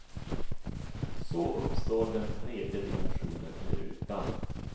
Så uppstår den tredje dimensionen i rutan.